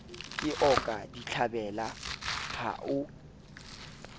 ke oka ditlhabela ha o